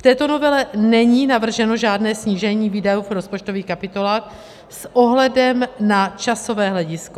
V této novele není navrženo žádné snížení výdajů v rozpočtových kapitolách s ohledem na časové hledisko.